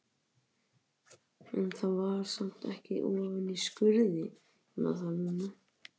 En það var samt ekki ofan í skurði, ég man það núna.